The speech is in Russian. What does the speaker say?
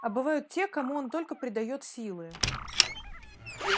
а бывают те кому он только придаёт силы